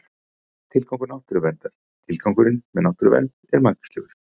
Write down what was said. Tilgangur náttúruverndar Tilgangurinn með náttúruvernd er margvíslegur.